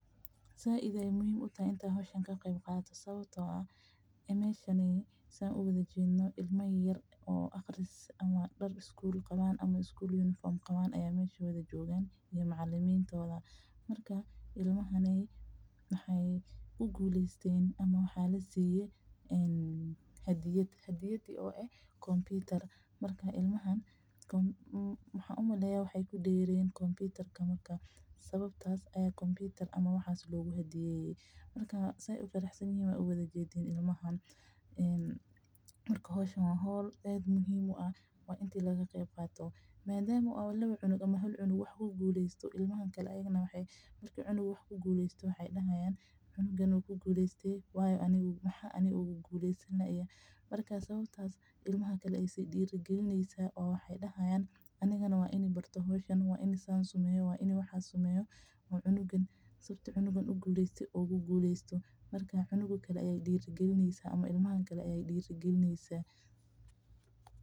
Sait ayeey muhiim utahay in laga qeeb qaato sababta oo ah meeshan ilma yar oo iskuul joogan oo guleesteen oo hadiyad lasiinayo oo hadiyad lasiiye waay faraxsan yihiin madama uu cunug wax ku guleeste ilmaha kale waay is diiri hmgakinyaa waa inaay guleestan marka waa diiri galin waana muhiim.